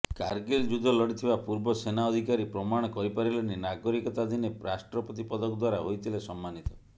କାରଗିଲ ଯୁଦ୍ଧ ଲଢ଼ିଥିବା ପୂର୍ବ ସେନା ଅଧିକାରୀ ପ୍ରମାଣ କରିପାରିଲେନି ନାଗରିକତା ଦିନେ ରାଷ୍ଟ୍ରପତି ପଦକ ଦ୍ୱାରା ହୋଇଥିଲେ ସମ୍ମାନିତ